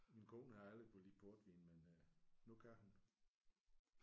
Min kone har aldrig kunnet lide portvin men øh nu kan hun